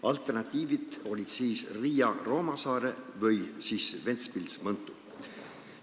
Alternatiivid olid siis Riia–Roomassaare või Ventspils–Mõntu.